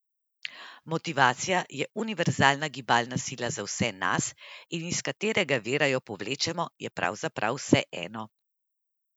Motivacija je univerzalna gibalna sila za vse nas, in iz katerega vira jo povlečemo, je pravzaprav vseeno.